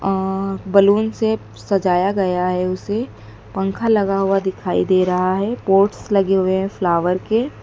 और बलून से सजाया गया है उसे पंखा लगा हुवा दिखाई दे रहा हैं पोट्स लगे हुए हैं फ्लावर के।